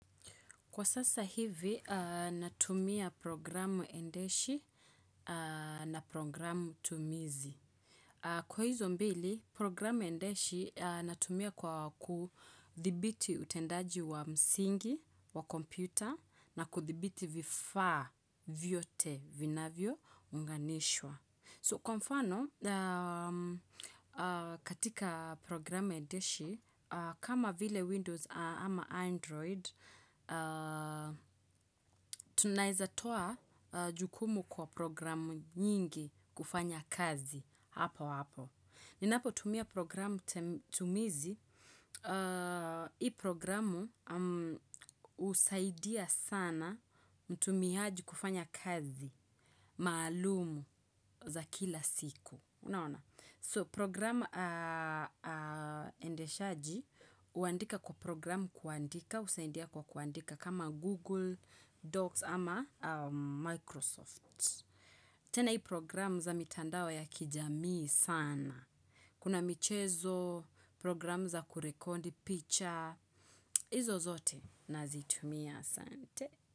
Kwa sasa hivi, natumia programu endeshi na programu tumizi. Kwa hizo mbili, programu endeshi natumia kwa kuthibiti utendaji wa msingi, wa kompyuta, na kuthibiti vifaa vyote vinavyo unganishwa. So kwa mfano, katika programu endeshi, kama vile Windows ama Android, tunaezatoa jukumu kwa programu nyingi kufanya kazi hapo hapo. Ninapo tumia programu tumizi, hii programu husaidia sana mtumiaji kufanya kazi maalumu za kila siku. So programu endeshaji huandika kwa programu kuandika, husaidia kwa kuandika kama Google Docs ama Microsoft. Tena hii programu za mitandao ya kijamii sana. Kuna michezo, programu za kurekodi, picha, hizo zote nazitumia. Sante.